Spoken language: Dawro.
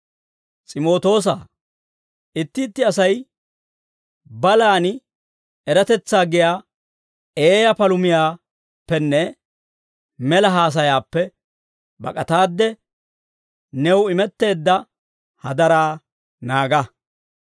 S'imootoosaa, itti itti Asay balaan eratetsaa giyaa eeyaa palumiyaappenne mela haasayaappe bak'ataadde, new imetteedda hadaraa naaga.